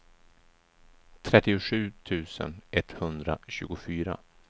trettiosju tusen etthundratjugofyra